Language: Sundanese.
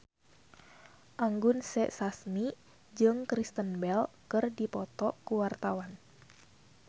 Anggun C. Sasmi jeung Kristen Bell keur dipoto ku wartawan